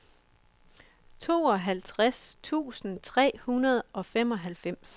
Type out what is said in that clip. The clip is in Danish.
tooghalvtreds tusind tre hundrede og femoghalvfems